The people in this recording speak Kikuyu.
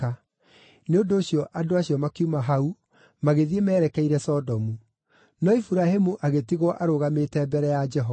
Nĩ ũndũ ũcio andũ acio makiuma hau magĩthiĩ merekeire Sodomu, no Iburahĩmu agĩtigwo arũgamĩte mbere ya Jehova.